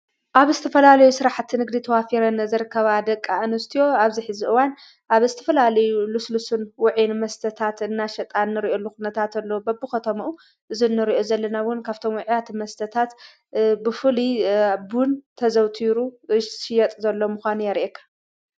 ኣብ እስተፈላልዩ ሥራሕት ንግሪ ተዋፊረ ንዘርከባ ደቃ እንስትዮ ኣብዚኂ ዝእዋን ኣብ እስቲ ፈላልዩ ልስልስን ውዒን መስተታት እናሸጣን ን ርዩ ልኹነታ እተሎዉ በብ ኸተምኡ እዝንርኦ ዘለናውን ካብተምውዕያት መስተታት ብፉል ኣቦን ተዘውቱሩ ሽየጥ ዘሎ ምዃኑ የርአካ።